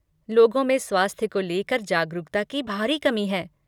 लोगों में स्वास्थ्य को लेकर जागरूकता की भारी कमी है।